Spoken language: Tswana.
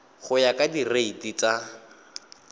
go ya ka direiti tsa